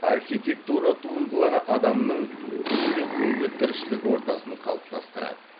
архитектура туындылары адамның күнбе күнгі тіршілік ортасын қалыптастырады